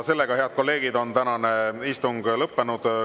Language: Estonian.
Head kolleegid, tänane istung on lõppenud.